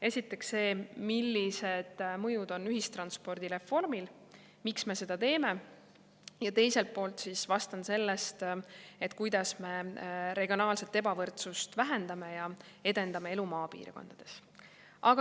Esiteks, see, millised mõjud on ühistranspordireformil ja miks me seda teeme, ning teiselt poolt sellest, kuidas me regionaalset ebavõrdsust vähendame ja edendame elu maapiirkondades.